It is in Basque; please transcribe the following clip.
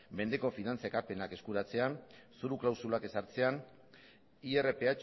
mendeko finantza ekarpenak eskuratzean zoru klausulak ezartzean irph